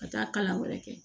Ka taa kalan wɛrɛ kɛ